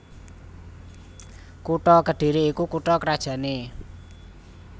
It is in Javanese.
Kutha Kedhiri iku kutha krajanné